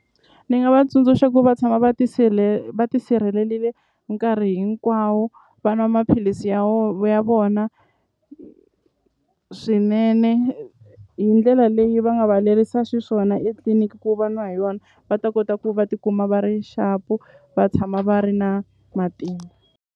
Ni nga va tsundzuxa ku va tshama va va tisirhelelile nkarhi hinkwawo va nwa maphilisi ya ya vona swinene hi ndlela leyi va nga va lerisa swiswona etliliniki ku va nwa hi yona va ta kota ku va tikuma va ri xapu va tshama va ri na matimba.